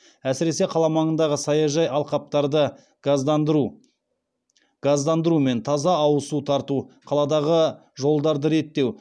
әсіресе қала маңындағы саяжай алқаптарды газдандыру мен таза ауыз су тарту қаладағы жолдарды реттеу